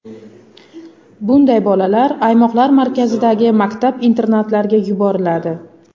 Bunday bolalar aymoqlar markazlaridagi maktab-internatlarga yuboriladi.